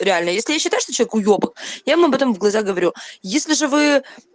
реально если я считаю что человек уёбок я ему об этом в глаза говорю если же вы